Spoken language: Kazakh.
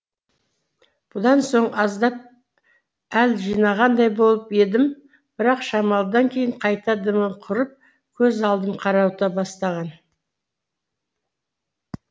бұдан соң аздап әл жинағандай болып едім бірақ шамалыдан кейін қайта дымым құрып көз алдым қарауыта бастаған